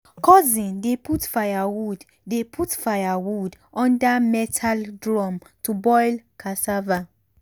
cousin dey put firewood dey put firewood under metal drum to boil cassava.